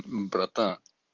мм братан